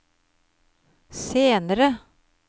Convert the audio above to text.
senere